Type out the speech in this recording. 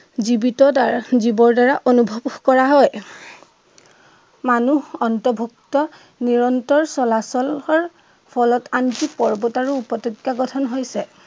জীৱিত দ্বাৰা জীৱৰ দ্বাৰা অনুভৱ কৰা হয়। মানুহ অন্তভূক্ত নিৰন্তৰ চলাচলৰ ফলত আনকি পৰ্ৱত আৰু উপত্য়কা গঠন হৈছে।